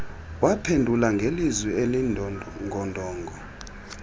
waphendula ngelizwi elindongondongo